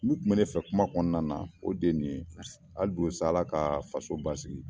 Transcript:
Min tun bɛ ne fɛ kuma kɔnɔna na o de ye nin ye hali bi sa Ala ka faso basigi